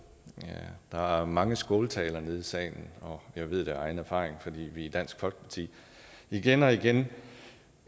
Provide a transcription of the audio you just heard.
der er mange skåltaler nede i salen og jeg ved det af egen erfaring fordi vi i dansk folkeparti igen og igen